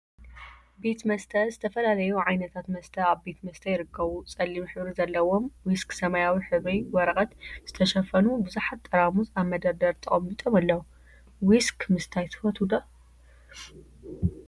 ቤት መስተ ዝተፈላለዩ ዓይነታት መስተ አብ ቤት መስተ ይርከቡ፡፡ ፀሊም ሕብሪ ዘለዎም ዊስክ ሰማያዊ ሕብሪ ወረቀት ዝተሸፈኑ ቡዙሓት ጠራሙዘ አብ መደርደሪ ተቀሚጦም አለው፡፡ ዊስክ ምስታይ ትፈትው ዶ?